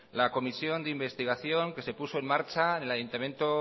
la comisión de investigación que se puso en marcha en el ayuntamiento